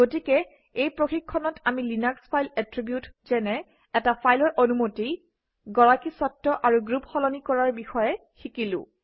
গতিকে এই প্ৰশিক্ষণত আমি লিনাক্স ফাইল এট্ৰিবিউট যেনে এটা ফাইলৰ অনুমতি গৰাকীস্বত্ত্ব আৰু গ্ৰুপ সলনি কৰাৰ বিষয়ে শিকিলো